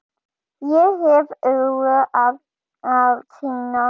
Ég hef öðru að sinna.